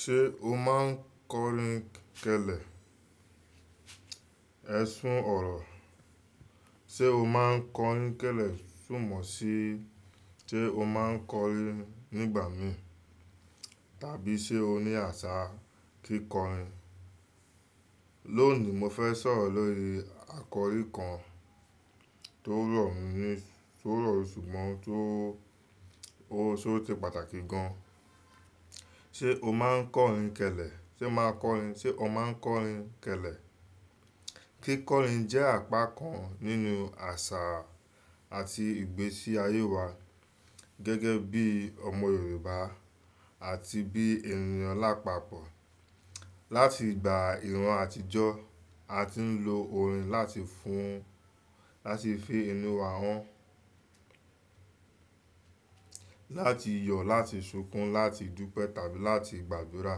Ṣé o máa ń kọrin kẹlẹ? Ẹ sún ọ̀rọ̀. Sé o máa ń kọrin kẹlẹ, súmọ̀ sí, sé o máa ń kọrin nígbà mí tàbí sé o ní àṣà kíkọrin. Lónìí, mo fẹ́ sọ̀rọ̀ lórí àkọ́rí kan tó rọ̀ mí ní, tó rọ̀ ṣùgbọ́n tó, ó, ó se pàtàkì gan an. Sé o máa ń kọrin kẹlẹ? Sé máa ń kọrin-- sé o máa ń kọrin kẹlẹ? Kíkọrin jẹ́ àpá kan nínú àṣà àti ìgbésí ayé wa. Gẹ́gẹ́ bí ọmọ Yorùbá àti bí ènìyàn lápapọ̀. Látìgbà ìran àtijọ́, a ti ń lo orin láti fún, láti fi inú wa hàn. Látì yọ̀, láti ṣókùn, láti dúpẹ́ tàbí láti gbàdúrà.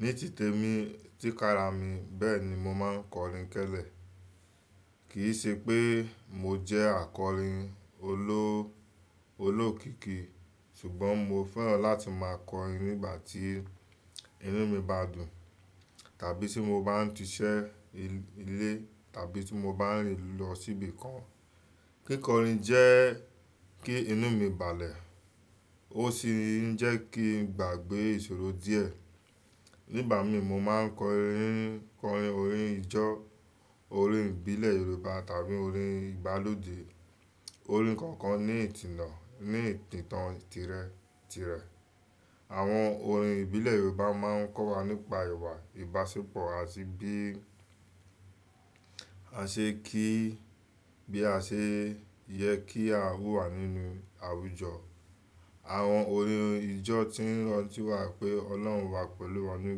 Ní tìtẹ́ mi, tí kára mi, bẹ́ẹ̀ ni mo máa ń kọrin kẹlẹ. Kì í ṣe pé mo jẹ́ akọrin oló-olókìkí, ṣùgbọ́n mo fẹ́ràn láti máa kọrin nígbà tí inú mi bá dùn, tàbí tí mo bá ń ti iṣẹ́ ilé tàbí tí mo bá ń rìn lọ síbi kan. Kíkọrin jẹ kí inú mi balẹ̀, ó sì ń jẹ́ kí n gbàgbé ìṣòro díẹ̀. Nígbà mí mo máa ń kọrin, kọrin orin ìjọ, orin ìbílẹ̀ Yorùbá tàbí orin ìgbálódé. Orin kọ̀ọ̀kan ní ìtìnnà, ní ìtàn tìrẹ-tìrẹ. Àwọn orin ìbílẹ̀ Yorùbá máa ń kọ́ wa nípa ìwà ìbáṣepọ̀ àti bí a ṣe kí, bí a ṣe yẹ kí a wù wá nínú àwùjọ. Àwọn orin ìjọ ti ń rántí wá pé Ọlọ́run wà pẹ̀lú wa ní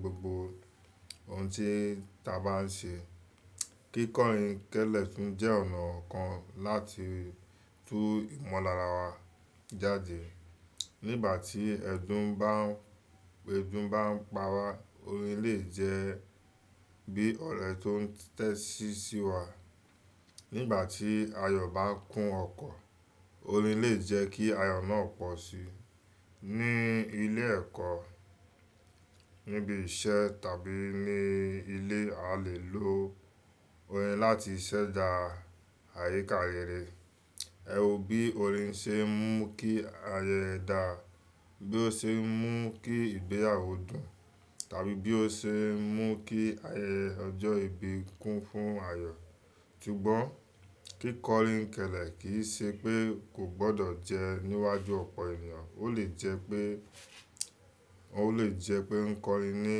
gbogbo ohun tí ta bá ń ṣe. Kíkọrin kẹlẹ tún jẹ́ ọ̀nà kan láti tú ìmọ̀lára wa jáde. Nígbà tí ẹ̀dùn bá ń, bi edun bá ń pa wá, orin le jẹ́ bí ọ̀rẹ́ tó ń tẹ́tíṣí wá. Nígbà tí ayọ̀ bá ń kún ọkọ̀, orin le jẹ́ kí ayọ̀ náà pọ̀ síi. Ní ilé ẹ̀kọ́, níbi iṣẹ́ tàbí ní ilé a le lo orin láti ṣẹ̀dá àyíká rere. Ẹ wò bí orin ṣe ń mú kí ayẹyẹ dà, bí ó ṣe ń mú kí ìgbéyàwó dùn tàbí bí ó ṣe ń mú kí ayẹyẹ ọjọ́ ìbí kún fún ayọ̀. Ṣùgbọ́n kíkọrin kẹlẹ kì í ṣe pé kò gbọdọ̀ jẹ́ níwájú ọ̀pọ̀ ènìyàn, ó le jẹ́ pé, ó le jẹ́ pé ń kọrin ní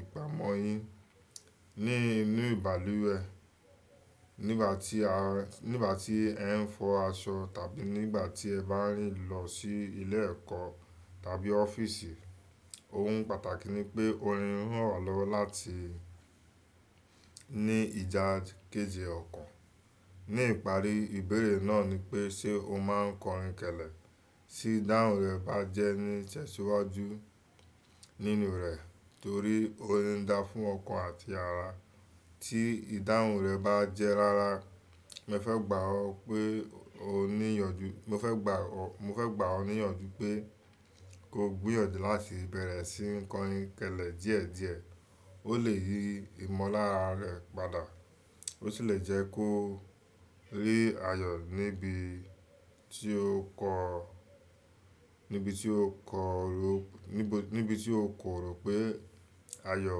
ìpàmọ́ yín, ní inú ìbàlúwẹ̀. Nígbà tí a, nígbà tí ẹ ń fọ aṣọ tàbí nígbà tí ẹ bá ń rìn lọ sí ilé ẹ̀kọ́ tàbí ọ́fíìsì, ohun pàtàkì ni pé orin ń ràn wa lọ́wọ́ láti ní ìjà kéje ọkàn. Ní ìparí, ìbéèrè náà ni pé ṣe o máa ń kọrin kẹlẹ? Tí ìdáhùn rẹ bá jẹ́ ní ìtẹ́ṣiwájú nínú rẹ torí orin ń dá fún ọkàn àti ara. Tí ìdáhùn rẹ bá jẹ́ rárá, mo fẹ́ gbà ọ́ pé o ní ìyànjú, mo fẹ́ gbà ọ́, mo fẹ́ gbà ọ́ ní ìyànjú pé ko gbíyànjú láti bẹ̀rẹ̀ sí ní kọrin kẹlẹ díẹ̀díẹ̀. Ó lè yí ìmọ̀lára rẹ padà, ó sì le jẹ́ kó rí ayọ̀ níbi tí ó kọ, níbi tí ó kọ̀ró, níbi, níbi tí ó kò rò pé ayọ̀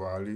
wà rí.